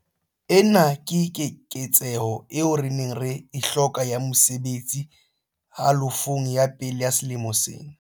Ena ke keketseho eo re neng re e hloka ya mesebetsi halofong ya pele ya selemo sena.